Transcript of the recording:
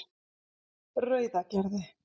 Rauðagerði